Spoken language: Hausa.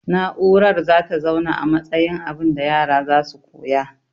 Na'urar zata zauna a matsayin abunda yara zasu koya